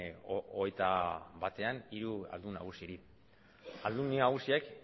hogeita batean hiru aldun nagusiri aldundi nagusiek